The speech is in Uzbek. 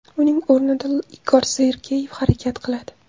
Uning o‘rnida Igor Sergeyev harakat qiladi.